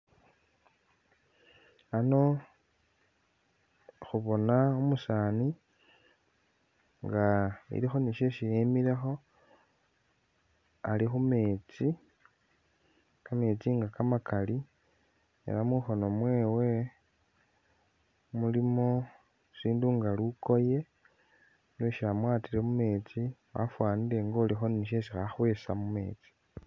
Ano khubona umusani nga siliwo shesi emilekho, alikhumeetsi kameetsi nga kamakaali elah mukhono mwewe mulimo isindu nga lukoye lweshi amwatile mumeetsi afanile nga ulikho ni'shesi khakhwesa khukhwama mumeetsi